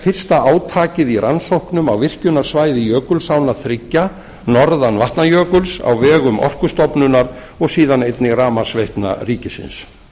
fyrsta átakið í rannsóknum á virkjunarsvæði jökulsánna þriggja norðan vatnajökuls á vegum orkustofnunar og síðan einnig rafmagnsveitna ríkisins